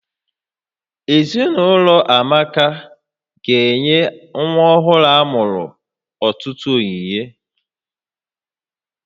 Ezinaụlọ Amaka ga-enye nwa ọhụrụ amụrụ ọtụtụ onyinye